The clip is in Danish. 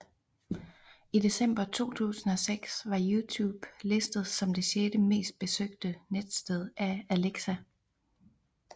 I december 2006 var YouTube listet som det sjette mest besøgte netsted af Alexa